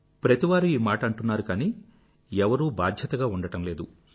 ప్రతివారు ఈ మాట అంటున్నారు కానీ ఎవరూ బాధ్యతగా ఉండటం లేదు